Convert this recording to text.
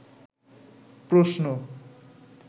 প্রশ্ন